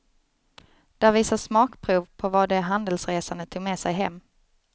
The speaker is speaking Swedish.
Där visas smakprov på vad de handelsresande tog med sig hem.